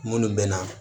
Minnu bɛ na